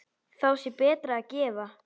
Þá sé betra að gefa.